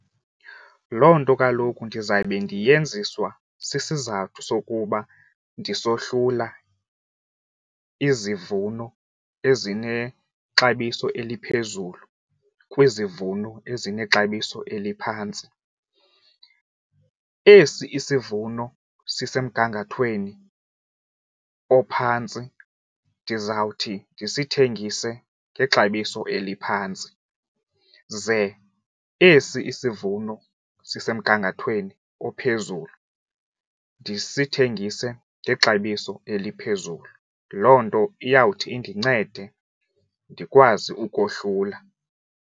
Loo nto kaloku ndizawube ndiyeniswa sisizathu sokuba ndisohlula izivuno ezinexabiso eliphezulu kwizivuno ezinexabiso eliphantsi. Esi isivuno sisemgangathweni ophantsi ndizawuthi ndisithengise ngexabiso eliphantsi ze esi isivuno sisemgangathweni ophezulu ndisithengise ngexabiso eliphezulu. Loo nto iyawuthi indincede ndikwazi ukohlula.